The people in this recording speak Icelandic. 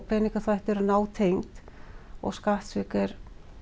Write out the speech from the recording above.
peningaþvætti eru nátengd og skattsvik eru